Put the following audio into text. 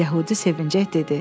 Yəhudi sevinclə dedi.